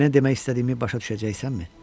Nə demək istədiyimi başa düşəcəksənmi?